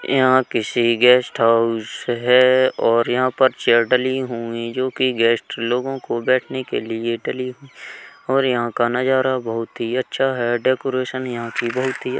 यहां किसी guest house है और यहां पर चेयर डली हुई जो कि गेस्ट लोगों के बैठने के लिए डली हुई और यहां का नजारा बोहुत ही अच्छा है। डेकोरेशन यहां की बोहुत ही --